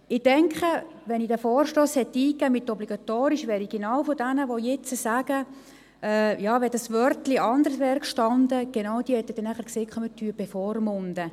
Ich denke, wenn ich diesen Vorstoss mit einem Obligatorium eingereicht hätte, würden genau diejenigen, die jetzt sagen, «wenn hier ein anderes Wort gestanden hätte …» sagen, wir würden bevormunden.